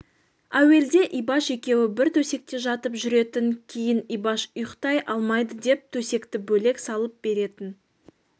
әуелде ибаш екеуі бір төсекте жатып жүретін кейін ибаш ұйықтай алмайды деп төсекті бөлек салып беретін